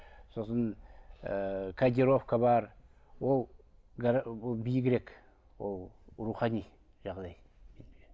сосын ыыы кодировка бар ол ол биігірек ол рухани жағдай